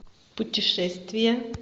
путешествие